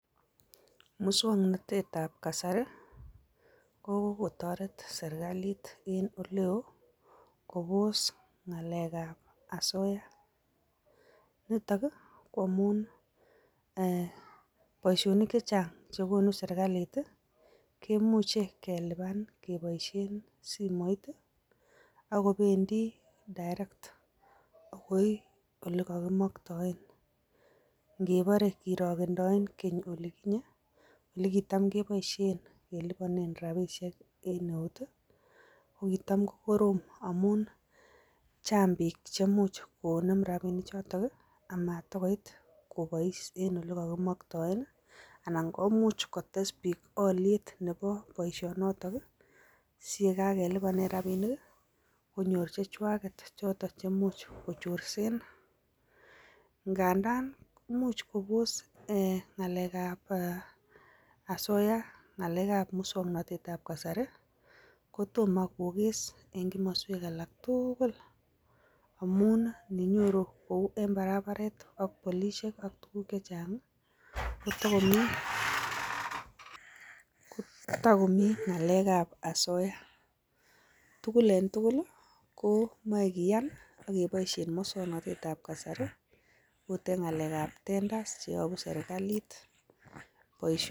Muswoknatet ab kasari, ko kokotoret serikalit en olewo, kopos ng'alek ab asoya, nitok, ko amun boisyonik chechang' kokonu serikalit, kemuche kelipan keboisien simoit, akopendi direct akoi olekokimoktoen. Ingepore kirogendoen keny oliginye, olegitam keboisien keliponen rapishek en eut, kokitam kokorom amun, chang' piik chemuch konem rapinik choton, amatagoit kobois en olekokimoktoen, anan komuch kotes piik olyet nepo boiisonotok, si ye kakelipanen rapinik, konyor chechwaget chemuch kochorsen. Ngandan imuch kopos ng'alek ab asoya musoknotet ab kasari, ko tomo kokes en komoswek alak tugul, amun ninyoru en barabaret ak polisiek, ak tuguk chechang', kotogomi ng'alek ab asoya. Ko tugul en tugul komoe kiyan akoboisien musoknotet ab kasari agot en ng'alek ab tenders cheyopu serikalit.